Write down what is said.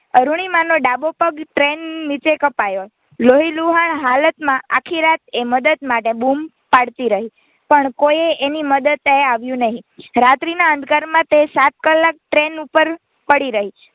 અરૂણિમાનો ડાબો પગ Train નીચે કપાયો લોહીલુહાણ હાલતમાં આખી રાત એ મદદ માટે બૂમો પડતી રહી પણ કોઈ એની મદદે આવ્યું નહીં રાત્રી ના અંધકારમાં તે સાત કલાક Train ઉપર પડી રહી.